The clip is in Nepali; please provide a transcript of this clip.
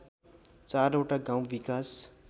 चारवटा गाउँ विकास